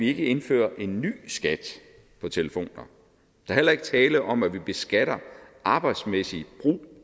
ikke indfører en ny skat på telefon der er heller ikke tale om at vi beskatter arbejdsmæssig brug